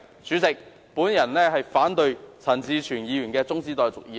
主席，我反對陳志全議員提出的中止待續議案。